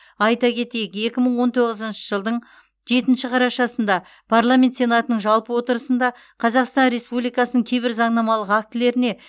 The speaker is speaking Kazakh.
айта кетейік екі мың он тоғызыншы жылдың жетінші қарашасында парламент сенатының жалпы отырысында қазақстан республикасының кейбір заңнамалық актілеріне